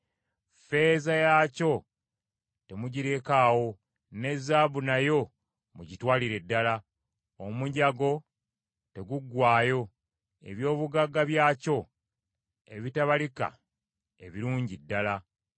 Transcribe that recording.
Ffeeza yaakyo temugirekaawo, ne zaabu nayo mugitwalire ddala, omunyago teguggwaayo, eby’obugagga byakyo ebitabalika ebirungi ddala.